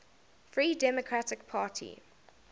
free democratic party